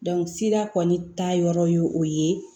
sira kɔni ta yɔrɔ ye o ye